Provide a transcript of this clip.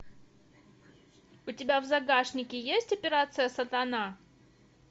у тебя в загашнике есть операция сатана